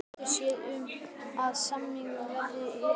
Pabbi getur séð um, að samningnum verði rift